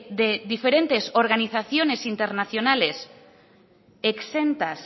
de diferentes organizaciones internacionales exentas